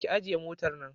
Ki ajiye motar nan